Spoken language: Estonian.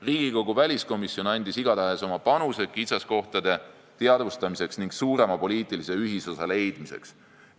Riigikogu väliskomisjon on igatahes andnud oma panuse kitsaskohtade teadvustamiseks ning suurema poliitilise ühisosa leidmiseks.